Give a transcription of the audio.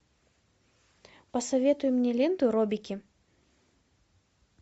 посоветуй мне ленту робики